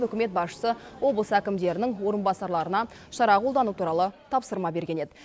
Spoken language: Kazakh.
үкімет басшысы облыс әкімдерінің орынбасарларына шара қолдану туралы тапсырма берген еді